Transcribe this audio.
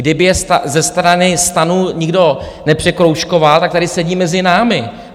Kdyby je ze strany STAN nikdo nepřekroužkoval, tak tady sedí mezi námi.